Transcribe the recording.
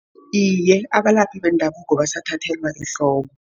Iye, abalaphi bendabuko basathathelwa ehloko.